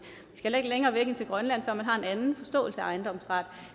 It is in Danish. skal ikke længere væk end til grønland før man har en anden forståelse af ejendomsret